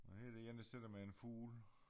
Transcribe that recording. Og her er der en der sidder med en fugl